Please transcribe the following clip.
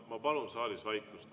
Ma palun saalis vaikust.